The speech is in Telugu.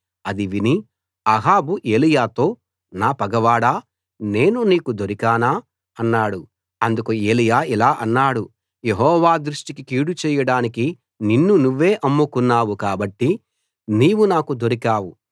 అది విని అహాబు ఏలీయాతో నా పగవాడా నేను నీకు దొరికానా అన్నాడు అందుకు ఏలీయా ఇలా అన్నాడు యెహోవా దృష్టికి కీడు చేయడానికి నిన్ను నువ్వే అమ్ముకున్నావు కాబట్టి నీవు నాకు దొరికావు